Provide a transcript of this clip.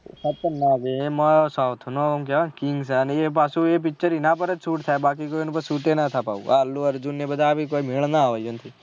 ખતરનાક એમાં સોઉથ નો એનો નોમ હું છે બાકી એ picture એના પરજ shoot થાય બાકી કોઈ ના પર shoot ના થાય અલ્લુ ને એ બધા આવે મેળ ના આવે